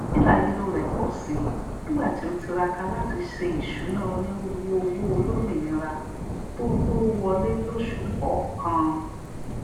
hílàhílo rẹ pọ sí nígbà tí o tiraka látí se ìsúná onírúurú owó olómìnira tó tó wọlé lósù kọkan